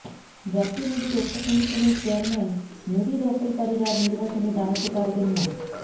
জাতীয় নদী রক্ষা কমিশনের চেয়ারম্যান নদী দখলকারীরা নির্বাচনে দাঁড়াতে পারবেন না